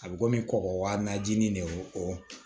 A bɛ komi kɔgɔ wa na jinin de ye o